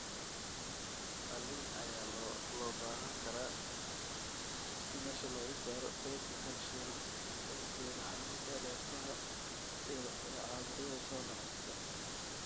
Qalliin ayaa loo baahan karaa si meesha looga saaro kaydka calcium ee keena xanuunka neerfaha iyo caabuqyada soo noqnoqda.